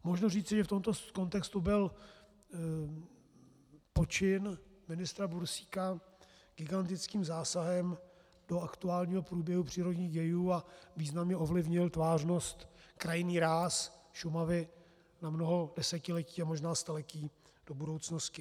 Možno říci, že v tomto kontextu byl počin ministra Bursíka gigantickým zásahem do aktuálního průběhu přírodních dějů a významně ovlivnil tvářnost, krajinný ráz Šumavy na mnoho desetiletí a možná staletí do budoucnosti.